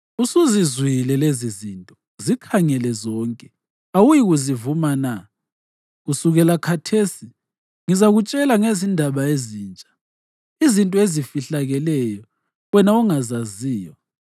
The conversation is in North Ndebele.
Usuzizwile lezizinto; zikhangele zonke. Awuyikuzivuma na? Kusukela khathesi ngizakutshela ngezinto ezintsha, izinto ezifihlakeleyo wena ongazaziyo.